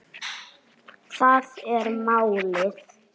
Það er málið